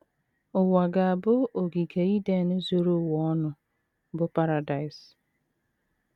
Ụwa ga - abụ ogige Iden zuru ụwa ọnụ, bụ́ paradaịs.